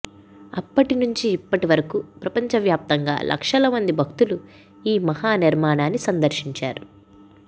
అప్పటి నుండి ఇప్పటివరకు ప్రపంచ వ్యాప్తంగా లక్షల మంది భక్తులు ఈ మహా నిర్మాణాన్ని సందర్శించారు